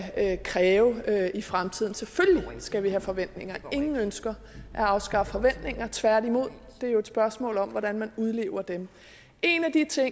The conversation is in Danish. kræve i fremtiden selvfølgelig skal vi have forventninger ingen ønsker at afskaffe forventninger tværtimod det er jo et spørgsmål om hvordan man udlever dem en af de ting